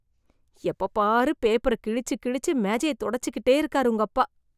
எப்பப் பாரு, பேப்பர கிழிச்சு கிழிச்சு மேஜைய தொடச்சிக்கிட்டே இருக்காரு உங்கப்பா...